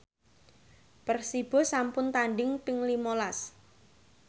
Persibo sampun tandhing ping lima las